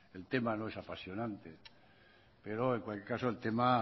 el tema no es apasionante pero en cualquier caso el tema